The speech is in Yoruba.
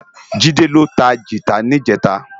Jide ló tá gitá nijètá